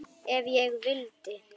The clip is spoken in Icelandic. Ef ég vildi.